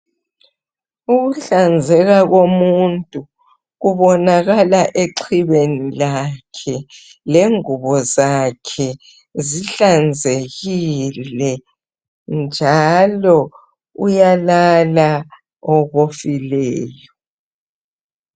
Ukuhlanzeka komuntu kubonakala exhibeni lakhe. Lengubo zakhe zihlanzekile, njalo uyalala okofileyo.